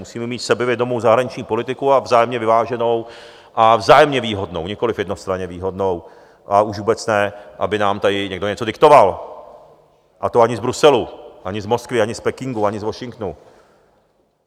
Musíme mít sebevědomou zahraniční politiku a vzájemně vyváženou a vzájemně výhodnou, nikoliv jednostranně výhodnou, a už vůbec ne, aby nám tady někdo něco diktoval, a to ani z Bruselu, ani z Moskvy, ani z Pekingu, ani z Washingtonu.